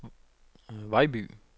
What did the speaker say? Vejby